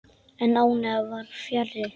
En ánægjan var fjarri.